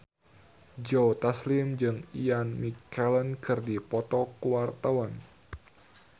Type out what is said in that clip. Joe Taslim jeung Ian McKellen keur dipoto ku wartawan